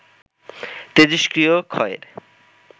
তেজষ্ক্রিয় ক্ষয়ের